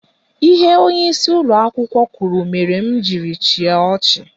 Ihe onyeisi ụlọakwụkwọ kwuru mere m jiri chịa ọchị.